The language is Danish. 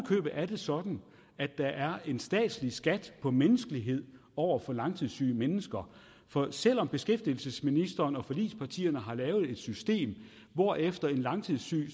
købet er det sådan at der er en statslig skat på menneskelighed over for langtidssyge mennesker for selv om beskæftigelsesministeren og forligspartierne har lavet et system hvorefter en langtidssyg